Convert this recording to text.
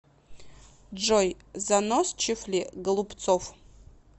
джой заносчив ли голубцов